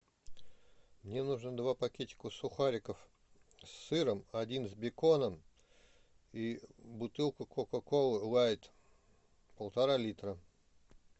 мне нужно два пакетика сухариков с сыром один с беконом и бутылку кока колы лайт полтора литра